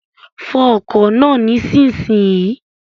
Fọ ọkọ̀ náà nísinsìnyí!